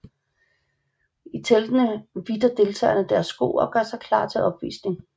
I teltene hvidter deltagerne deres sko og gør sig klar til opvisning